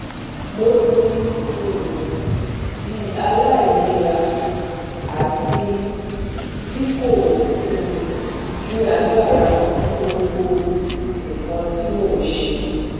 Mo ti um di alailera ati ti ko um ni agbara fun gbogbo nkan ti mo n ṣe